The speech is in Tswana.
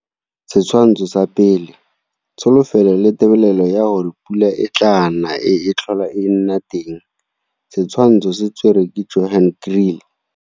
Setshwantsho sa 1. Tsholofelo le tebelelo ya gore pula e tlaa na e tlhola e nna teng. Setshwantsho se tserwe ke Johan Kriel.